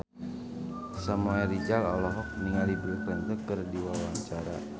Samuel Rizal olohok ningali Bill Clinton keur diwawancara